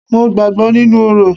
Mo gbàgbọ́ nínú orò.